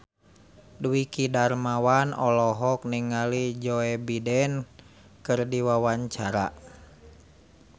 Dwiki Darmawan olohok ningali Joe Biden keur diwawancara